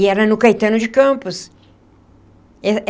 E era no Caetano de Campos.